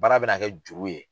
Baara bɛ na kɛ juru ye.